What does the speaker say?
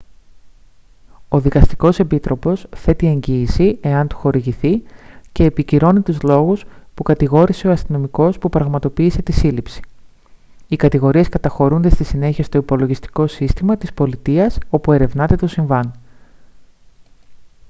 ο δικαστικός επίτροπος θέτει εγγύηση εάν του χορηγηθεί και επικυρώνει τους λόγους που κατηγόρησε ο αστυνομικός που πραγματοποίησε τη σύλληψη οι κατηγορίες καταχωρούνται στη συνέχεια στο υπολογιστικό σύστημα της πολιτείας όπου ερευνάται το συμβάν